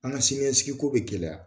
An ka sini ɲɛsigiko bɛ gɛlɛya